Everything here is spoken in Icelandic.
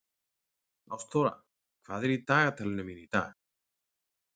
Ástþóra, hvað er í dagatalinu mínu í dag?